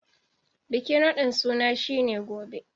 Bikin radin suna shi ne Gobe.